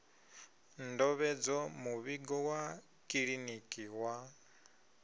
ndovhedzo muvhigo wa kiḽiniki wa